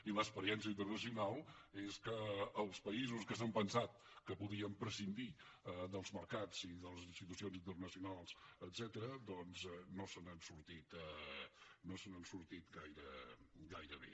i l’experiència internacional és que els països que s’han pensat que podien prescindir dels mercats i de les institucions internacionals etcètera doncs no se n’ha sortit gaire bé